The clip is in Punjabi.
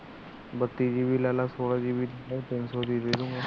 ਬੱਤੀ GB ਲੈ ਲੈ ਚੋਠ GB ਲੈ ਲੈ ਤਿੰਨ ਸੋ